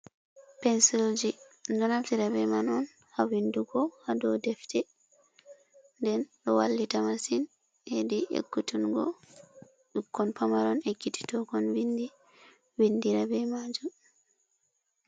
Pensul ji! Ɓe ɗo naftira beeman on ha windugo ha dow defte. Nden ɗo wallita masin hedi ekkutungo ɓikkoi pamaron ekkiti tookon windi, windira be maaju.